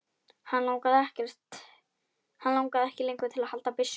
Hann langaði ekki lengur til að halda byssunni.